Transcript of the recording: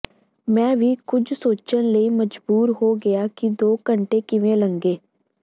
ਮੈਂ ਵੀ ਕੁਝ ਸੋਚਣ ਲਈ ਮਜਬੂਰ ਹੋ ਗਿਆ ਕਿ ਦੋ ਘੰਟੇ ਕਿਵੇਂ ਲੰਘੇ